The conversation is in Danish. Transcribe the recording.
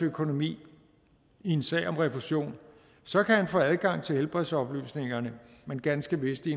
økonomi i en sag om refusion så kan arbejdsgiveren få adgang til helbredsoplysningerne men ganske vist i